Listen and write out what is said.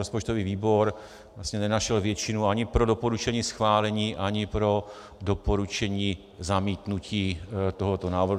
Rozpočtový výbor vlastně nenašel většinu ani pro doporučení schválení, ani pro doporučení zamítnutí tohoto návrhu.